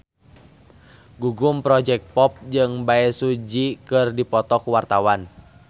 Gugum Project Pop jeung Bae Su Ji keur dipoto ku wartawan